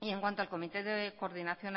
y en cuanto al comité de coordinación